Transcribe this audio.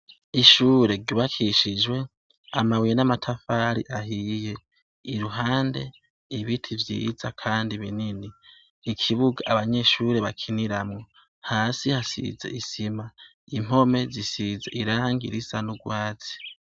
Ishure ryubakishijwe amabuye n'amatafari ahiye, iruhande ibiti vyiza kandi binini. Ikibuga abanyeshure bakiniramwo. Hasi hasize isima, impome zisize irangi zisa n'urwatsi.